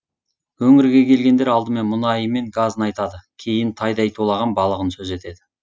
өңірге келгендер алдымен мұнайы мен газын айтады кейін тайдай тулаған балығын сөз етеді